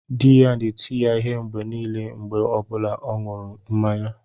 Di ya na-eti ya ihe mgbe niile mgbe ọ bụla ọ na-aṅụ mmanya